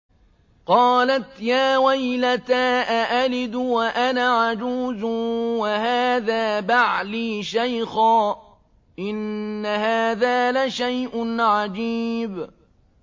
قَالَتْ يَا وَيْلَتَىٰ أَأَلِدُ وَأَنَا عَجُوزٌ وَهَٰذَا بَعْلِي شَيْخًا ۖ إِنَّ هَٰذَا لَشَيْءٌ عَجِيبٌ